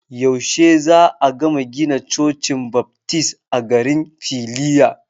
Yaushe za'a gama gina Cocin Baftis a garin Filiya?